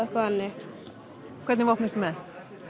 eitthvað þannig hvernig vopn ertu með